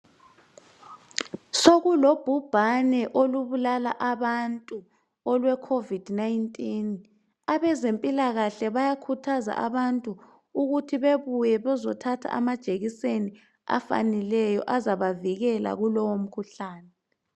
Sokulobhubhane olubulala abantu olwecovid 19. Abezempilakahle bayakhuthaza abantu ukuthi bebuye bezothatha amajekiseni afaneleyo azabavikela kulowo mkhuhlane.